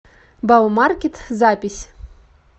баумаркет запись